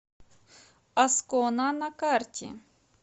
аскона на карте